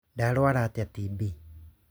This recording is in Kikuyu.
Ndarũara atĩa TB?